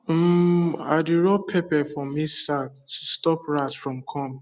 um i dey rub pepper for maize sack to stop rat from come